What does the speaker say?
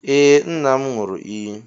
Ee, nna m ṅụrụ iyi.